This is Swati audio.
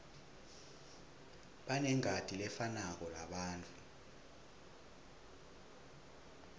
banengati lefanako labantfu